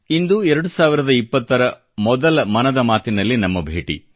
ಇಂದು 2020 ರ ಮೊದಲ ಮನದ ಮಾತಿನಲ್ಲಿ ನಮ್ಮ ಭೇಟಿ